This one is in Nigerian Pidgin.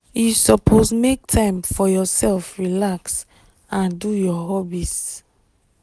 you suppose make time for yourself relax and do your hobbies.